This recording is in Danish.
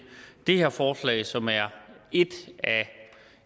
det her forslag som er et af